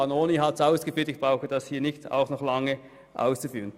Vanoni hat es ausgeführt, und ich brauche das nicht auch noch zu tun.